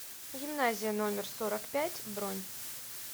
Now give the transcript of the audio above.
гимназия номер сорок пять бронь